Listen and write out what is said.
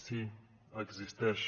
sí existeix